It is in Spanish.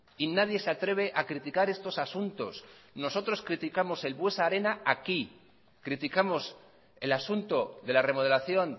y nadie se atreve a criticar estos asuntos nosotros criticamos el buesa arena aquí criticamos el asunto de la remodelación